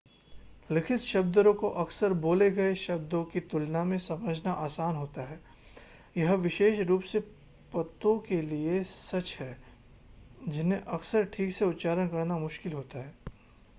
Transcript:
लिखित शब्दों को अक्सर बोले गए शब्दों की तुलना में समझना आसान होता है यह विशेष रूप से पतों के लिए सच है जिन्हें अक्सर ठीक से उच्चारण करना मुश्किल होता है